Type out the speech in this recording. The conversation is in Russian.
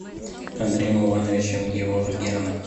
андреем ивановичем геворгяном